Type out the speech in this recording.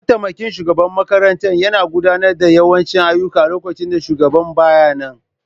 Mataimakin shugaban makaranta yana gudanar da yawancin ayyuka lokacin da shugaban ba ya nan.